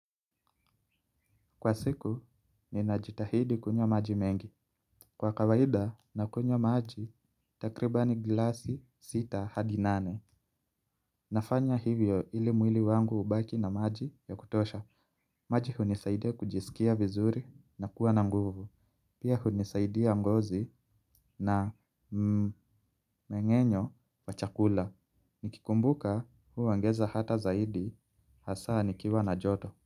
Kwa siku, ninajitahidi kunywa maji mengi. Kwa kawaida, nakunywa maji, takribani glasi sita hadi nane. Nafanya hivyo ili mwili wangu ubaki na maji ya kutosha. Maji hunisaidia kujisikia vizuri na kuwa na nguvu. Pia hunisaidia ngozi na mmengenyo wachakula. Nikikumbuka huu ongeza hata zaidi hasa nikiwa na joto.